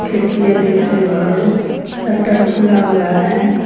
खिड़कियां दिख रही हैं शटर खुला है।